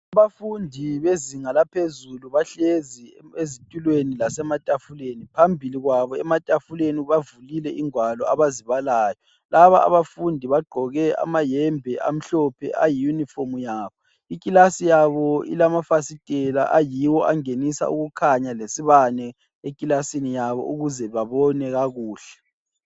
Abafundi bezinga laphezulu bahlezi ezitulweni lasematafuleni, phambili kwabo ematafuleni bavulile ingwalo abazibalayo. Laba abafundi bagqoke amayembe amhlophe ayiyunifomu yabo. Iklasi yabo ilamafasitela ayiwo angenisa ukukhanya lesibane eklasini yabo ukuze babone kakuhle.